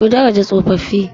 Ku daraja tsofaffi.